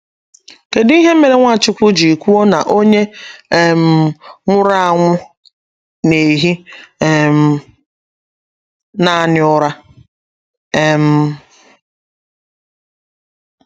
Kedụ ihe mere Nwachukwu ji kwuo na onye um nwụrụ anwụ na - ehi um nanị ụra? um